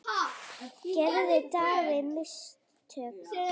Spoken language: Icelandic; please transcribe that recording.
Gerði David mistök?